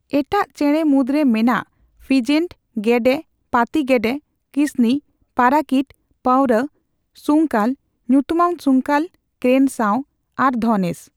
ᱮᱴᱟᱴ ᱪᱮᱬᱮ ᱢᱩᱫᱽᱨᱮ ᱢᱮᱱᱟᱜ ᱯᱷᱤᱡᱮᱱᱴ, ᱜᱮᱰᱮ, ᱯᱟᱹᱛᱤ ᱜᱮᱰᱮ, ᱠᱤᱥᱱᱤ, ᱯᱟᱨᱟᱠᱤᱴ, ᱯᱟᱣᱨᱟ, ᱥᱩᱝᱠᱟᱹᱞ(ᱧᱩᱛᱩᱢᱟᱱ ᱥᱩᱝᱠᱟᱹᱞ ᱠᱨᱮᱱ ᱥᱟᱣ) ᱟᱨ ᱫᱷᱚᱱᱮᱥ᱾